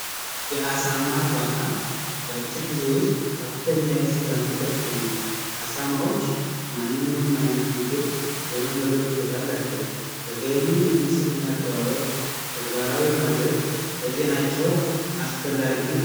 አሳማርባታ በአጭር ጊዜ ውስጥ ከፍተኛ የስጋ ምርት ያስገኛል ዓሳማዎች ማንኛውንም አይነት ምግብ የመመገብ ችሎታቸው ተገቢውን የንጽህና አጠባበ ቁ ተግባራዊ መድረክ ለጤናቸው አስፈላጊ ነው